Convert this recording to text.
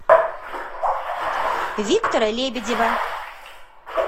виктора лебедева